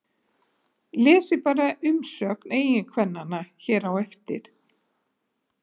Lesið bara umsögn eiginkvennanna hér á eftir